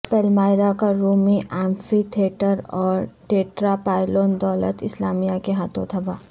Palmyra کا رومی amphitheatre اور ٹیٹراپائلون دولت اسلامیہ کے ہاتھوں تباہ